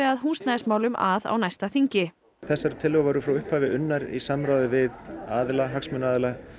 að húsnæðismálum að á næsta þingi þessar tillögur voru frá upphafi unnar í samráði við aðila hagsmunaaðila